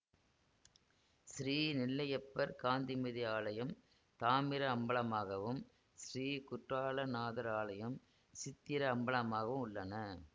ஸ்ரீ நெல்லையப்பர் காந்திமதி ஆலயம் தாமிர அம்பலமாகவும் ஸ்ரீ குற்றால நாதர் ஆலயம் சித்திர அம்பலமாகவும் உள்ளன